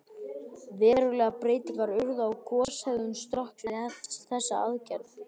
Verulegar breytingar urðu á goshegðun Strokks við þessa aðgerð.